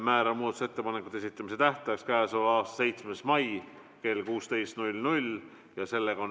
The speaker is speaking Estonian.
Määran muudatusettepanekute esitamise tähtajaks k.a 7. mai kell 16.